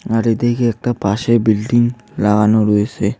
আরে এদিকে একটা পাশে বিল্ডিং লাগানো রয়েসে।